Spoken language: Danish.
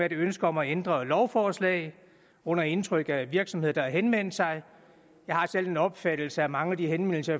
et ønske om at ændre et lovforslag under indtryk af virksomheder der har henvendt sig jeg har selv den opfattelse at mange af de henvendelser